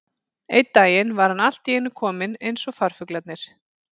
Einn daginn var hann allt í einu kominn eins og farfuglarnir.